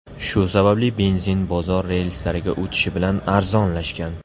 Shu sababli benzin bozor relslariga o‘tishi bilan arzonlashgan.